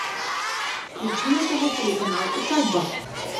включи на тв телеканал усадьба